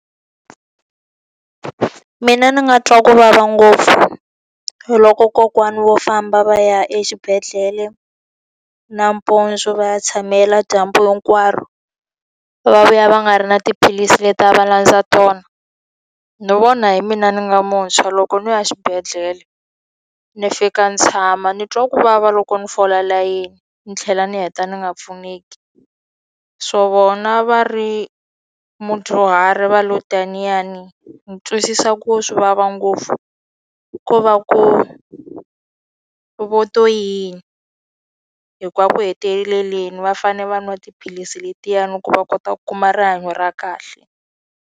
Mina ndzi nga twa ku vava ngopfu loko kokwana wo famba va ya exibedhlele nampundzu va ya tshamela dyambu hinkwaro, va vuya va nga ri na tiphilisi leti a va landza tona. Ni vona hi mina ni nga muntshwa loko ni ya xibedhlele, ni fika ni tshama ni twa ku vava loko ni fola layini, ni tlhela ni heta ni nga pfuneki. So vona va ri mudyuhari va lo tiniyani ni twisisa ku swi vava ngopfu. Ko va ku vo to yini hikuva ku heteleleni va fanele va nwa tiphilisi letiyani ku va kota ku kuma rihanyo ra kahle.